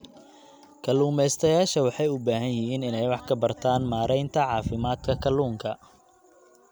Kalumestayasha waxay u baahan yihiin inay wax ka bartaan maareynta caafimaadka kalluunka.